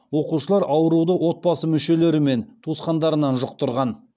оқушылар ауруды отбасы мүшелері мен туысқандарынан жұқтырған